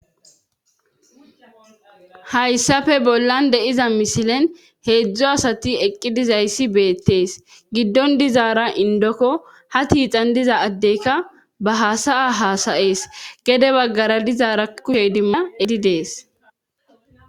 hayssafe bollan de'iza mishilen heedzdzou asati eqqi dizayssi beettees giddon dizaara indokko ha tiixan diza addeyka ba hasaya hasa'ees gede baggara dizaara kushe idimmidi dees